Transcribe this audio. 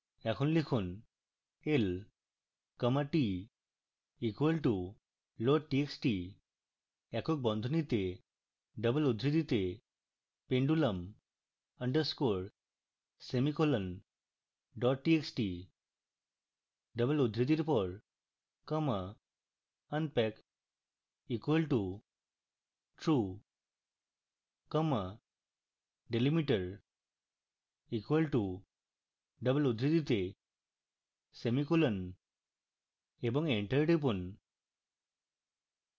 এখন লিখুন l comma t equal to loadtxt একক বন্ধনীতে double উদ্ধৃতিতে pendulum underscore semicolon dot txt double উদ্ধৃতির পর comma unpack equal to true comma delimiter equal to double উদ্ধৃতিতে semicolon